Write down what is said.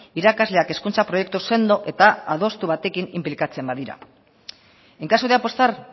irakasleak hezkuntza proiektu sendo eta adostu batekin inplikatzen badira en caso de apostar